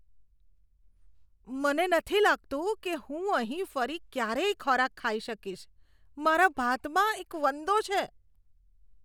મને નથી લાગતું કે હું અહીં ફરી ક્યારેય ખોરાક ખાઈ શકીશ, મારા ભાતમાં એક વંદો છે.